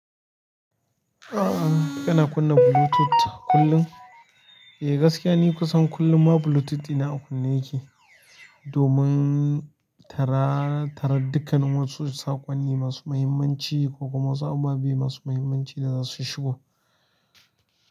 Ah, kana kunna Bluetooth kullum? Eh gaskiya ni kusan kullum ma Bluetooth ina a kunna yake, domin tara, tara dukkanin wasu saƙonni masu muhimmanci ko kuma wasu ababe masu muhimmanci da za su shigo.